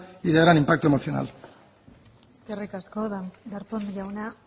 y de gran impacto emocional eskerrik asko darpón jauna